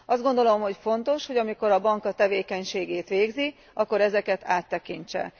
Azt gondolom, hogy fontos, hogy amikor a bank a tevékenységét végzi, akkor ezeket áttekintse.